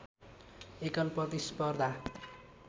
एकल प्रतिस्पर्धा